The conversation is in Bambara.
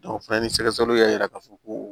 o fana ni sɛgɛsɛgɛliw y'a yira k'a fɔ ko